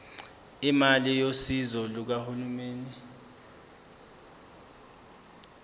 imali yosizo lukahulumeni